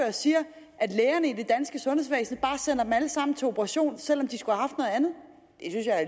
og siger at lægerne i det danske sundhedsvæsen bare sender dem alle sammen til operation selv om de skulle